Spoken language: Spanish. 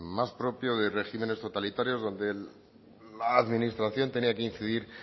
más propio de regímenes totalitarios donde la administración tenía que incidir